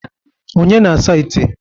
Onye na-asa ite?